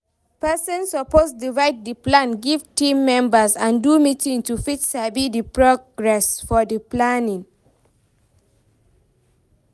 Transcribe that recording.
Persin suppose divide di plan give team member and do meetings to fit sabi di progress of di planning